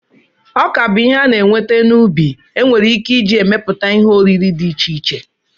Ọka bụ ihe a na-enweta n'ubi enwere ike iji emepụta ihe oriri dị iche iche.